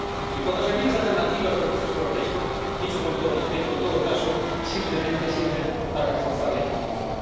En cuanto a las enmiendas alternativas propuestas por el resto —dicho con todo respeto—, en todo caso, simplemente sirven para reforzar la injusticia.